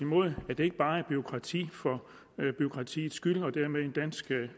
at det ikke bare er bureaukrati for bureaukratiets skyld og dermed en dansk